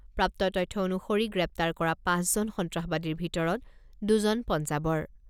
প্ৰাপ্ত তথ্য অনুসৰি গ্ৰেপ্তাৰ কৰা পাঁচজন সন্ত্ৰাসবাদীৰ ভিতৰত দুজন পঞ্জাৱৰ।